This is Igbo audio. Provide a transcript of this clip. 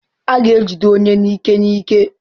A ga-ejide onye n'ike n'ike.